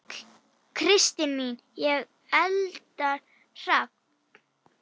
Kristín mín og Eldar Hrafn.